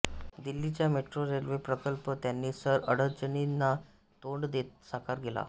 दिल्लीचा metro railway प्रकल्प त्यांनी सर अडचणींना तोंड देत साकार केला